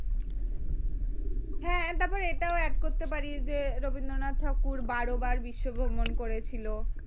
এটাও add করতে পারিস যে রবীন্দ্রনাথ ঠাকুর বারো বার বিশ্বভ্রমণ করেছিল